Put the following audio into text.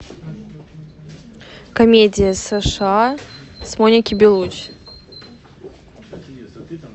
комедия сша с моникой белуччи